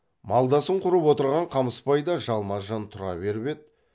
малдасын құрып отырған қамысбай да жалма жан тұра беріп еді